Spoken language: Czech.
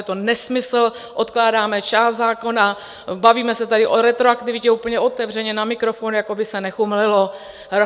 Je to nesmysl, odkládáme část zákona, bavíme se tady o retroaktivitě úplně otevřeně na mikrofon, jako by se nechumelilo.